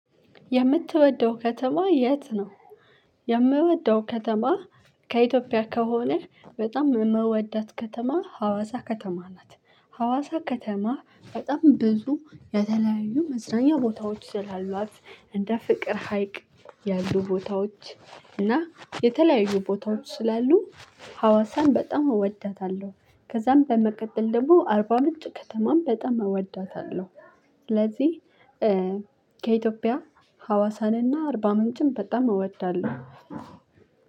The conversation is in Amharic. የምትወደው ከተማ የት ነው? የምወደው ከተማ ከኢትዮጵያ ከሆነ በጣም የምወዳት ከተማ ሀዋሳ ከተማ ናት። ሀዋሳ ከተማ በጣም ብዙ የተለያዩ መዝናኛ ቦታዎች ስላሏት እንደ ፍቅር ሀይቅ ያሉ ቦታዎች እና የተለያዩ ቦታዎች ስላሉ ሀዋሳን በጣም እወዳታለው። ከዛም በመቀጥል ደግሞ አርባምንጭ ከተማን በጣም እወዳታለሁ። ስለዚህ ከኢትዮጵያ ሀዋሳንና አርባምንጭን በጣም እወዳለሁ።